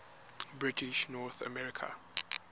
british north america